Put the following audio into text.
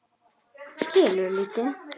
Kelur lítið.